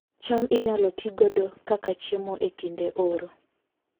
cham inyalo ti godo kaka chiemo e kinde oro